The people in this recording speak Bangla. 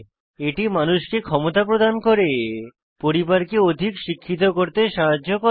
এটি মানুষকে ক্ষমতা প্রদান করে পরিবারকে অধিক শিক্ষিত করতে সাহায্য করে